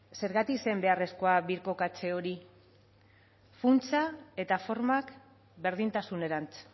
zergatik zen beharrezkoa birkokatze hori funtsa eta formak berdintasunerantz